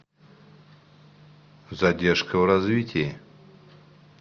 задержка в развитии